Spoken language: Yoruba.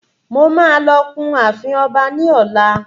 Mo máa lọ kun ààfin ọba ní ọlá.